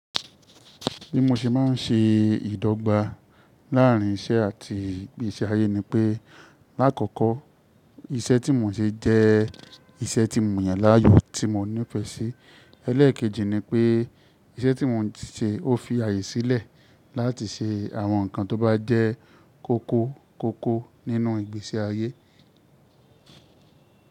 Bí mo ṣe má ń ṣe ìdọ́gba láàárín iṣẹ́ àti ìgbésí ayé ni pé, lákòókò, iṣẹ́ tí mo ń ṣe jẹ́ iṣẹ́ tí mo yan láàyò tí mo nífẹ́si. Elẹ́ẹ̀kejì ni pé iṣẹ́ tí mo ń ṣe ó fi ààyè sílẹ̀ láti ṣe àwọn nǹkan tó bá jẹ́ kóko koko nínú ìgbésí ayé.